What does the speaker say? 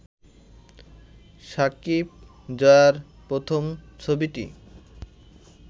সাকিব-জয়ার প্রথম ছবিটি